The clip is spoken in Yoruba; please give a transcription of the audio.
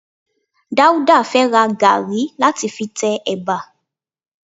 Dáúdà fẹ́ ra gàrí láti fi tẹ ẹ̀bà